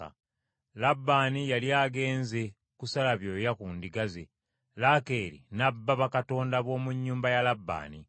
Labbaani yali agenze kusala byoya ku ndiga ze, Laakeeri n’abba bakatonda b’omu nnyumba ya Labbaani.